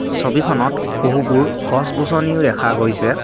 ছবিখনত বহুবোৰ গছ-গছনিও দেখা গৈছে।